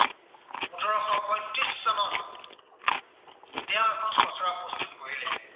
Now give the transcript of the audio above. তেওঁ আমাৰ খচৰা প্ৰস্তুত কৰিলে।